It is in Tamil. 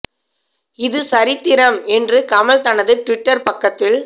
இது சரித்திரம் என்று கமல் தனது ட்விட்டர் ப